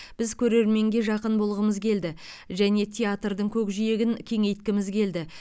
біз көрерменге жақын болғымыз келді және театрдың көкжиегін кеңейткіміз келді